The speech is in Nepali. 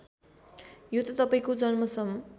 यो त तपाईँको जन्मसम